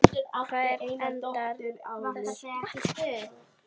Hvar endar þessi akstur?